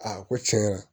Aa ko tiɲɛ yɛrɛ la